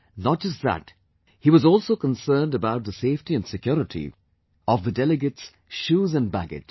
Not just that, he was also concerned about the safety and security of the delegates' shoes and baggage